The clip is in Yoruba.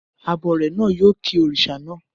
Abọrẹ̀ náà yóò ki òrìṣà naa